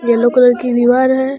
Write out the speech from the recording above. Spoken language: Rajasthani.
येलो कलर की दिवार है।